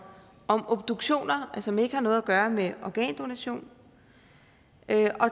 om obduktioner og som ikke har noget at gøre med organdonation